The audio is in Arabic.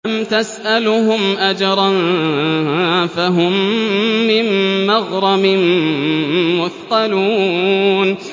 أَمْ تَسْأَلُهُمْ أَجْرًا فَهُم مِّن مَّغْرَمٍ مُّثْقَلُونَ